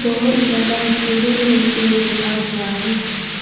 बहुत ज्यादा स्टूडेंट लोग भी बैठा हुआ है।